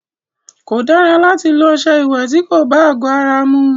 Kò dára láti lọ ọṣẹ ìwẹ̀ ti kò bá àgọ ara mu.